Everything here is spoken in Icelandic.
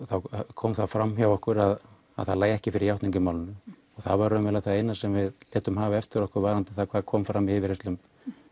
kom fram hjá okkur að það lægi ekki fyrir játning í málinu og það var raunverulega það eina sem við létum hafa eftir okkur varðandi það hvað kom fram í yfirheyrslum